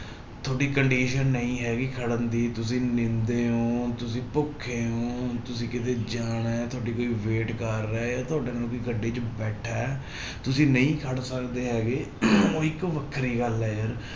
ਤੁਹਾਡੀ condition ਨਹੀਂ ਹੈਗੀ ਖੜਨ ਦੀ ਤੁਸੀਂ ਨੀਂਦੇ ਹੋ ਤੁਸੀਂ ਭੁੱਖੇ ਹੋ ਤੁਸੀਂ ਕਿਤੇ ਜਾਣਾ ਹੈ ਤੁਹਾਡੀ ਕੋਈ wait ਕਰ ਰਿਹਾ ਹੈ ਤੁਹਾਡੇ ਨਾਲ ਕੋਈ ਗੱਡੀ ਬੈਠਾ ਹੈ ਤੁਸੀਂ ਨਹੀਂ ਖੜ ਸਕਦੇ ਹੈਗੇ ਉਹ ਇੱਕ ਵੱਖਰੀ ਗੱਲ ਹੈ ਯਾਰ।